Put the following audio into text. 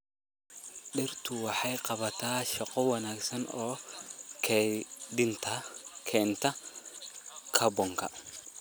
Dhirtu waxay qabataa shaqo wanaagsan oo kaydinta kaarboonka.